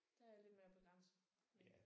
Der er jeg lidt mere begrænset men